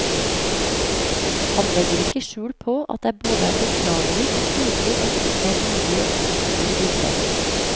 Han legger ikke skjul på at det er både beklagelig og pinlig at det ikke er mulig å oppspore bildet.